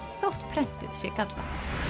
þótt prentið sé gallað